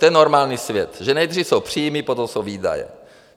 To je normální svět, že nejdřív jsou příjmy, potom jsou výdaje.